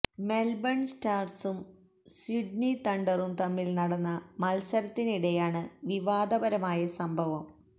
Melbourne സ്റ്റാര്സും Sydney തണ്ടറും തമ്മില് നടന്ന മത്സരത്തിനിടെയിലാണ് വിവാദപരമായ സംഭവം